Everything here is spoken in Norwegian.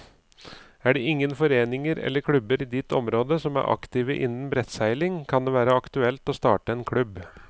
Er det ingen foreninger eller klubber i ditt område som er aktive innen brettseiling, kan det være aktuelt å starte en klubb.